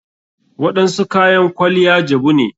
Waɗansu kayan kwaliya jabu ne.